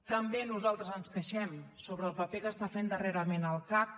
també nosaltres ens queixem sobre el paper que està fent darrerament el cac